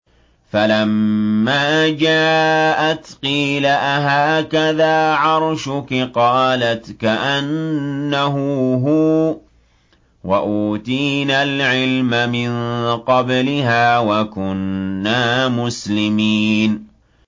فَلَمَّا جَاءَتْ قِيلَ أَهَٰكَذَا عَرْشُكِ ۖ قَالَتْ كَأَنَّهُ هُوَ ۚ وَأُوتِينَا الْعِلْمَ مِن قَبْلِهَا وَكُنَّا مُسْلِمِينَ